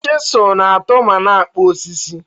Chịzụlụ na-atụụ ma na-akpụ osisi.